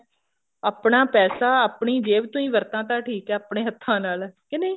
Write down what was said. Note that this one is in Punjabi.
ਆਪਣਾ ਪੈਸਾ ਆਪਣੀ ਜੇਬ ਤੋ ਹੀ ਵਰਤਾਂ ਤਾਂ ਠੀਕ ਹੈ ਆਪਣੇ ਹੱਥਾ ਨਾਲ ਕੇ ਨਹੀਂ